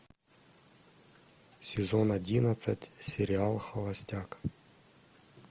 сезон одиннадцать сериал холостяк